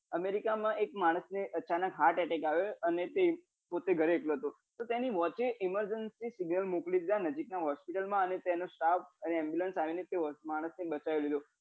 america મા એક માણસ ને અચાનક heart attack અને તે પોતે ઘરે એકલો હતો તો તેની મટે emergency મોકલી દીધો નજીક ની hospital માં અને તેનો staff અને ambulance આવી ને તે માણસ ને બચાઈ દીધો